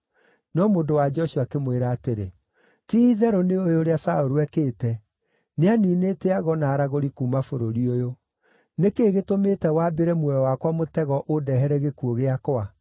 No mũndũ-wa-nja ũcio akĩmwĩra atĩrĩ, “Ti-itherũ nĩũũĩ ũrĩa Saũlũ ekĩte, nĩaniinĩte ago na aragũri kuuma bũrũri ũyũ. Nĩ kĩĩ gĩtũmĩte wambĩre muoyo wakwa mũtego ũndehere gĩkuũ gĩakwa?”